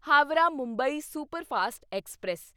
Howrah Mumbai superfast express